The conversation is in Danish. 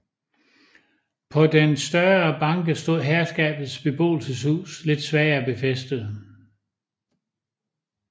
På den større banke stod herskabets beboelseshus lidt svagere befæstet